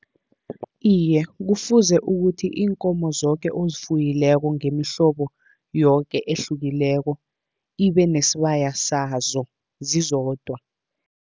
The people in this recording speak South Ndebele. Iye, kufuze ukuthi iinkomo zoke ozifuyileko ngemihlobo yoke ehlukileko, ibe nesibaya sazo zizodwa.